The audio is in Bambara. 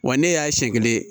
Wa ne y'a siɲɛ kelen